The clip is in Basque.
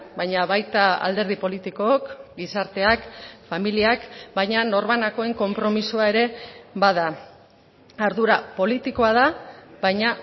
baina baita alderdi politikook gizarteak familiak baina norbanakoen konpromisoa ere bada ardura politikoa da baina